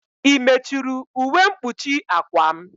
I mechuru ụwe mkpuchi akwa m?